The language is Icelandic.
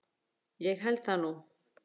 Ég held það nú!